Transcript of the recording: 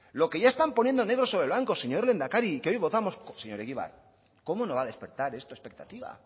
lo que ya están poniendo negro sobre blanco señor lehendakari y que hoy votamos señor egibar cómo no va a despertar esto expectativa